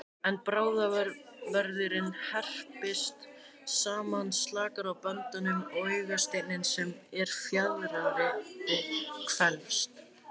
Ef brárvöðvinn herpist saman slakast á böndunum og augasteinninn sem er fjaðrandi, hvelfist.